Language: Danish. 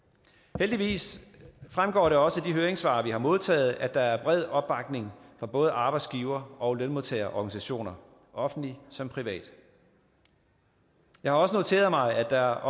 heldigvis fremgår det også af de høringssvar vi har modtaget at der er bred opbakning fra både arbejdsgiver og lønmodtagerorganisationer offentlige som private jeg har også noteret mig at der